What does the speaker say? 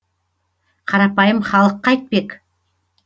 қарапайым халық қайтпек